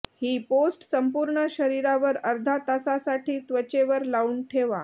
ही paste संपूर्ण शरीरावर अर्धा तासासाठी त्वचेवर लावून ठेवा